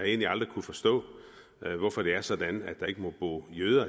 egentlig aldrig kunnet forstå hvorfor det er sådan at der ikke må bo jøder